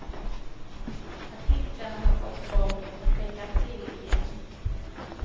Artiklarna har fått folk att tänka till igen.